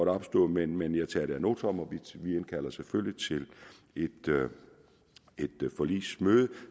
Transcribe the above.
er opstået men men jeg tager det ad notam og vi indkalder selvfølgelig til et forligsmøde